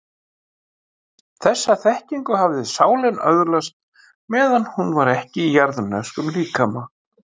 Þessa þekkingu hafði sálin öðlast meðan hún var ekki í jarðneskum líkama.